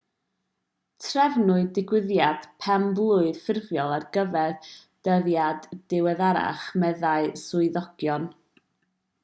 trefnwyd digwyddiad pen-blwydd ffurfiol ar gyfer dyddiad diweddarach meddai swyddogion